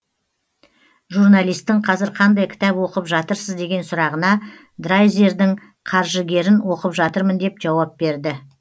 журналистің қазір қандай кітап оқыпжатырсыз деген сұрағына драйзердің қаржыгерін оқып жатырмын деп жауап берді